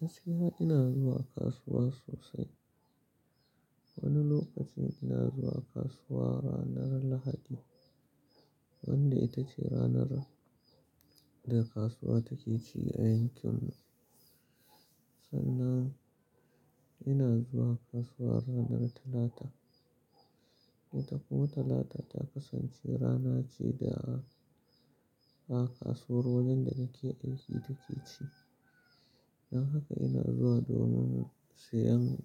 Gaskiya ina zuwa kasuwa sosai. Wani lokaci ina zuwa kasuwa ranar Lahadi, wanda ita ce ranar da kasuwa take ci a yankinmu. Sannan ina zuwa kasuwa ranar Talata, ita kuma Talata ta kasance rana ce da a kasuwar wajen da nake aiki take ci. Don haka ina zuwa domin siyan